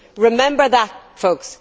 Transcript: Remember that, folks.